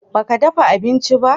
ba ka dafa abinci ba?